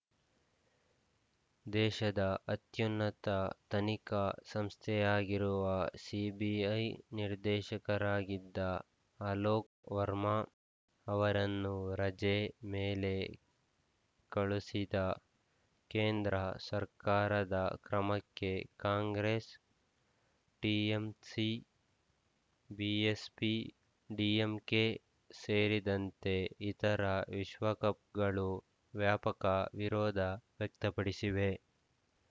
ದೇಶದ ಅತ್ಯುನ್ನತ ತನಿಖಾ ಸಂಸ್ಥೆಯಾಗಿರುವ ಸಿಬಿಐ ನಿರ್ದೇಶಕರಾಗಿದ್ದ ಅಲೋಕ್‌ ವರ್ಮಾ ಅವರನ್ನು ರಜೆ ಮೇಲೆ ಕಳುಸಿದ ಕೇಂದ್ರ ಸರ್ಕಾರದ ಕ್ರಮಕ್ಕೆ ಕಾಂಗ್ರೆಸ್‌ ಟಿಎಂಸಿ ಬಿಎಸ್‌ಪಿ ಡಿಎಂಕೆ ಸೇರಿದಂತೆ ಇತರ ವಿಶ್ವಕಪ್ ಗಳು ವ್ಯಾಪಕ ವಿರೋಧ ವ್ಯಕ್ತಪಡಿಸಿವೆ